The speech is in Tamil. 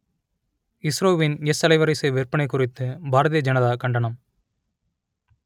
இஸ்ரோவின் எஸ் அலைவரிசை விற்பனை குறித்து பாரதிய ஜனதா கண்டனம்